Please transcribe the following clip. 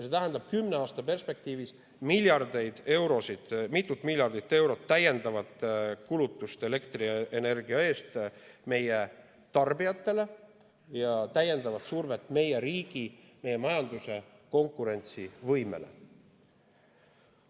See tähendab kümne aasta perspektiivis meie tarbijatele miljardeid eurosid, mitut miljardit eurot täiendavat kulutust elektrienergia eest ja täiendavat survet meie riigi, meie majanduse konkurentsivõimele.